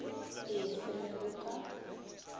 e fe ge go ka